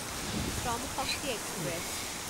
Shram Shakti express